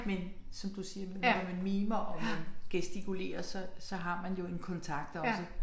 Men som du siger medmindre man mimer og man gestikulerer så så har man jo en kontakt også